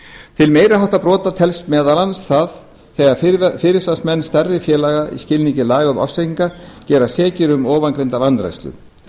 til meiri háttar brota telst það meðal annars þegar fyrirsvarsmenn stærri félaga í skilningi laga um ársreikninga gerast sekir um ofangreinda vanrækslu